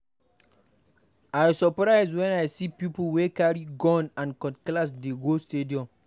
I surprise wen I see people wey carry gun and cutlass dey march go stadium.